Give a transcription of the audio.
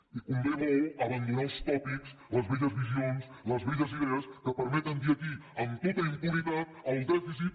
i convé molt abandonar els tòpics les velles visions les velles idees que permeten dir aquí amb tota impunitat el dèficit